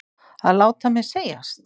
Að láta mér segjast?